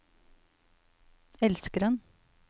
elskeren